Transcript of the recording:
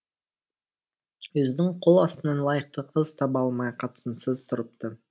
өзінің қол астынан лайықты қыз таба алмай қатынсыз тұрыпты